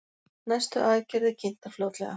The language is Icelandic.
Næstu aðgerðir kynntar fljótlega